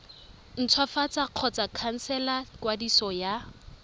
ntshwafatsa kgotsa khansela kwadiso ya